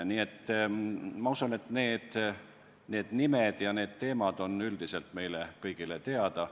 Ma usun, et need nimed ja need teemad on üldiselt meile kõigile teada.